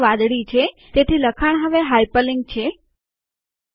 cursor hobbies પાસે મુકો control કળ અને જમણું માઉસ બટન દબાવો